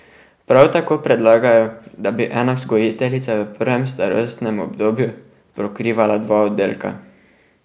Prav tako predlagajo, da bi ena vzgojiteljica v prvem starostnem obdobju pokrivala dva oddelka.